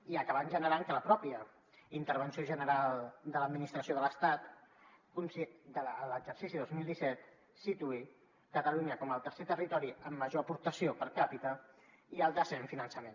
i ha acabat generant que la mateixa intervenció general de l’administració de l’estat a l’exercici dos mil disset situï catalunya com el tercer territori amb major aportació per capita i el desè en finançament